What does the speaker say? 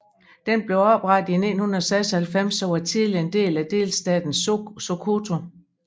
Den blev oprettet i 1996 og var tidligere en del af delstaten Sokoto